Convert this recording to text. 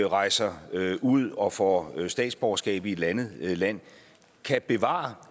rejser ud og får statsborgerskab i et andet land kan bevare